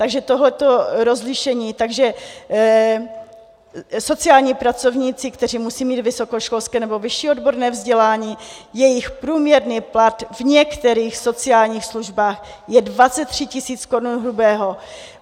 Takže tohle rozlišení - sociální pracovníci, kteří musí mít vysokoškolské nebo vyšší odborné vzdělání, jejich průměrný plat v některých sociálních službách je 23 tisíc korun hrubého.